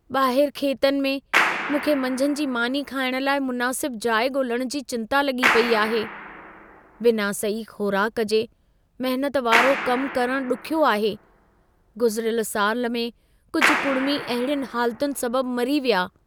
ॿाहरि खेतनि में, मूंखे मंझंदि जी मानी खाइण लाइ मुनासिब जाइ ॻोल्हण जी चिंता लॻी पेई आहे। बिना सही ख़ोराक जे महनत वारो कमु करणु ॾुखियो आहे। गुज़िरियल साल में कुझु कुड़िमी अहिड़ियुनि हालतुनि सबबु मरी विया।